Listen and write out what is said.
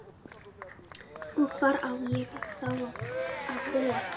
Og hvar á ég þá að búa?